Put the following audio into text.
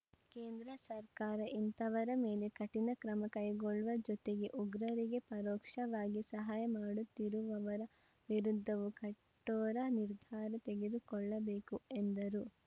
ಕೇಂದ್ರ ಸರ್ಕಾರ ಇಂಥವರ ಮೇಲೆ ಕಠಿಣ ಕ್ರಮ ಕೈಗೊಳ್ಳುವ ಜೊತೆಗೆ ಉಗ್ರರಿಗೆ ಪರೋಕ್ಷವಾಗಿ ಸಹಾಯ ಮಾಡುತ್ತಿರುವವರ ವಿರುದ್ಧವೂ ಕಠೋರ ನಿರ್ಧಾರ ತೆಗೆದುಕೊಳ್ಳಬೇಕು ಎಂದರು